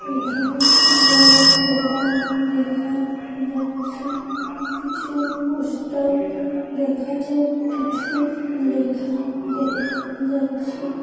এখানে বড়ো দোকান দেখা যাচ্ছে পিছু পোস্টার দেখাচ্ছে কিছু লেখা দেখা যাচ্ছে।